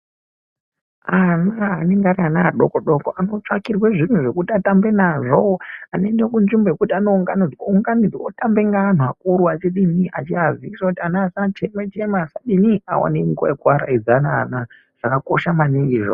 Ana anonge ariana adodoko anotsvakirwe zviro zvekuti atambe nazvo anoende kunzvimbo yekuti yaanounganidzwa otamba neanhu akuru achidini achiaziiza kuti ana asachema chema asadini aonenguwa yekuaraidza ana, zvakakosha maningi izvozvo.